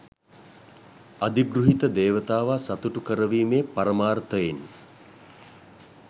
අධිගෘහිත දේවතාවා සතුටු කරවීමේ පරමාර්ථයෙන්